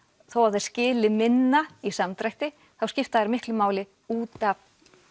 þó að þeir skili minna í samdrætti þá skipta þeir miklu máli út af